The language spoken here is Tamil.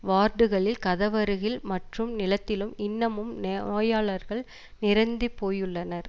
வார்டுகளில் கதவருகில் மற்றும் நிலத்திலும் இன்னமும் நே நோயாளர்கள் நிறைந்தி போயுள்ளனர்